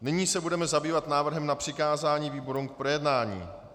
Nyní se budeme zabývat návrhem na přikázání výborům k projednání.